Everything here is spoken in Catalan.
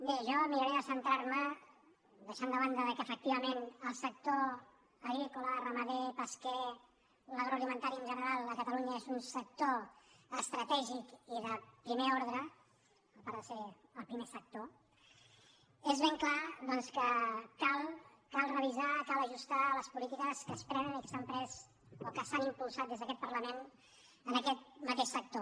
bé jo miraré de centrar·me deixant de banda que efectivament el sector agrícola ramader pesquer l’agroalimentari en general a catalunya és un sector estratègic i de primer ordre a part de ser el primer sector és ben clar doncs que cal revisar cal ajus·tar les polítiques que es prenen i que s’han pres o que s’han impulsat des d’aquest parlament en aquest ma·teix sector